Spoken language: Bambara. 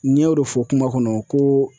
N y'o re fɔ kuma kɔnɔ ko